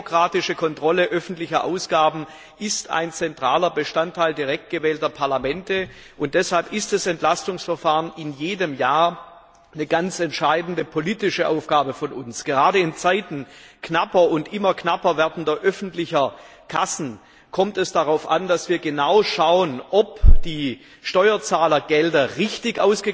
Die demokratische Kontrolle öffentlicher Ausgaben ist ein zentraler Bestandteil direkt gewählter Parlamente, und deshalb ist das Entlastungsverfahren in jedem Jahr eine ganz entscheidende politische Aufgabe von uns. Gerade in Zeiten immer knapper werdender öffentlicher Kassen kommt es darauf an, dass wir genau schauen, ob die Steuerzahlergelder richtig